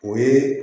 O ye